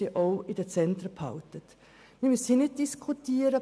Wir brauchen hier nicht Für und Wider zu diskutieren;